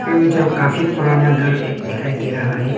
जो काफी पुराना घर एक दिखाई दे रहा है।